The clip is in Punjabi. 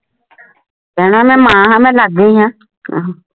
ਕਹਿਣਾ ਮੇਂ ਮਾਂ ਹਾਂ ਮੇਂ ਜਾਂਦੀ ਹਾਂ